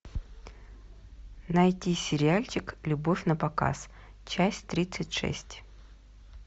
найти сериальчик любовь на показ часть тридцать шесть